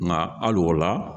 Nka hali o la